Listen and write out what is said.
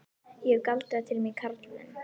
Ég hef galdrað til mín karlmenn.